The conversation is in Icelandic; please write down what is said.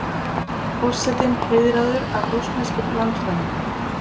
Forsetinn heiðraður af rússneskum landfræðingum